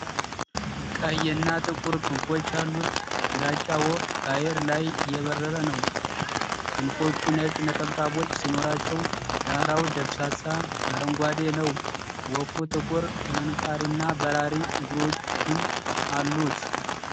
ቀይ እና ጥቁር ክንፎች ያሉት ግራጫ ወፍ በአየር ላይ እየበረረ ነው። ክንፎቹ ነጭ ነጠብጣቦች ሲኖራቸው፣ ዳራው ደብዛዛ አረንጓዴ ነው። ወፉ ጥቁር ምንቃርና በራሪ እግሮቹን አሉት።